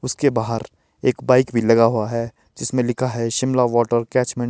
उसके बाहर एक बाइक भी लगा हुआ है जिसमें लिखा है शिमला वॉटर कैचमेंट --